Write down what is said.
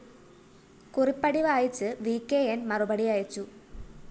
കുറിപ്പടി വായിച്ച് V K ന്‌ മറുപടി അയച്ചു